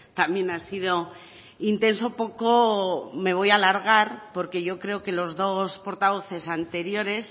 también ha sido intenso poco me voy a alargar porque yo creo que los dos portavoces anteriores